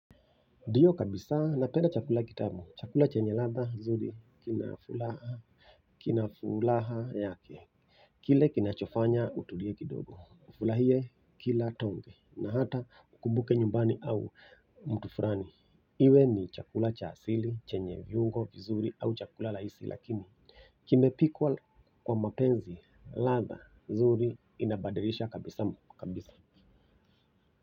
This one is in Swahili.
Ndio kabisa na penda chakula kitabu, chakula chenye latha, zuri, kinafulaha, kinafulaha yake kile kinachofanya utulie kidogo, ufurahie kila tonge, na hata mkumbuke nyumbani au mtu fulani iwe ni chakula cha asili, chenye viungo, vizuri, au chakula laisi, lakini kimepikwa kwa mapenzi, latha, zuri, inabadilisha kabisa, kabisa.